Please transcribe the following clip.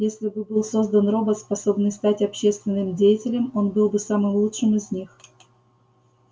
если бы был создан робот способный стать общественным деятелем он был бы самым лучшим из них